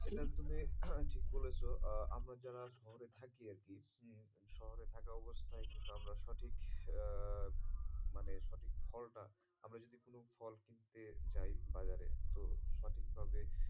সেটা তুমি ঠিক বলেছ আমরা যারা শহরে থাকি আরকি উম শহরে থাকা অবস্থায় আমরা সঠিক আহ মানে সঠিক ফলটা আমরা যদি কোনো ফল কিনতে যাই বাজারে তো সঠিক ভাবে,